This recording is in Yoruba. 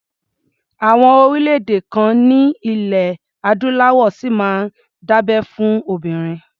Àwọn orílẹ̀-èdè kan ní ilẹ̀ Adúláwọ̀ ṣì máa ń dábẹ́ fún obìnrin.